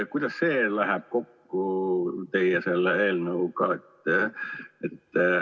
Kuidas see läheb kokku teie eelnõuga?